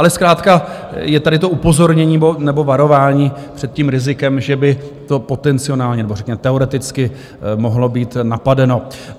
Ale zkrátka je tady to upozornění nebo varování před tím rizikem, že by to potenciálně nebo řekněme teoreticky mohlo být napadeno.